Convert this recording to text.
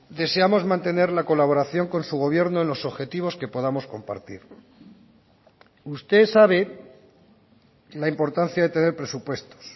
deseamos mantener la colaboración con su gobierno en los objetivos que podamos compartir usted sabe la importancia de tener presupuestos